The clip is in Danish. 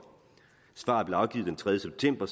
svaret blev afgivet den tredje september